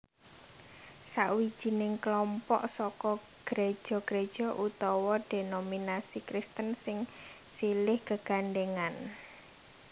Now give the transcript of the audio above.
Sawijining klompok saka gréja gréja utawa dhénominasi Kristen sing silih gegandhèngan